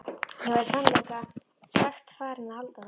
Ég var í sannleika sagt farinn að halda það.